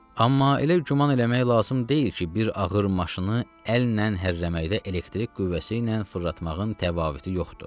Amma elə güman eləmək lazım deyil ki, bir ağır maşını əllə hərrəməkdə elektrik qüvvəsi ilə fırlatmağın təfavütü yoxdur.